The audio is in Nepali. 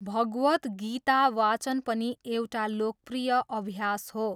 भगवद् गीता वाचन पनि एउटा लोकप्रिय अभ्यास हो।